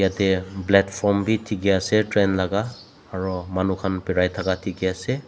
ete platform bi dikhi ase train laga aro manu khan birai taka dikhi ase.